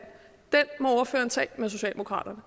må ordføreren tage med socialdemokraterne